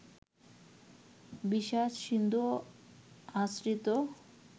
বিষাদ-সিন্ধু আশ্রিত